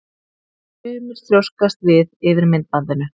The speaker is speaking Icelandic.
Sumir þrjóskast við yfir myndbandinu.